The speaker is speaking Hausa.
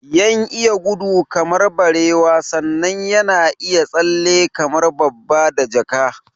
Yan iya gudu kamar barewa sannan yana iya tsalle kamar babba da jaka